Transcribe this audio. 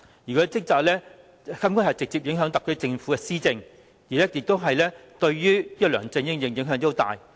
她的職責直接影響特區政府的施政，對梁振英也影響甚大。